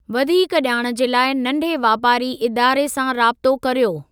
वधीक ॼाण जे लाइ नंढ़े वापारी इदारे सां राबितो करियो।